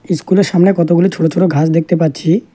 ইস্কুলের সামনে কতগুলি ছোট ছোট ঘাস দেখতে পাচ্ছি।